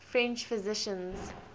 french physicians